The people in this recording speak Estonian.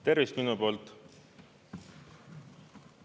Tervist minu poolt!